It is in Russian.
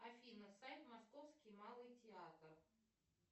афина сайт московский малый театр